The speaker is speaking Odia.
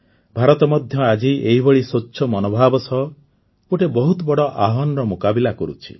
ଭାରତ ମଧ୍ୟ ଆଜି ଏହିଭଳି ସ୍ୱଚ୍ଛ ମନୋଭାବ ସହ ଗୋଟିଏ ବହୁତ ବଡ଼ ଆହ୍ୱାନର ମୁକାବିଲା କରୁଛି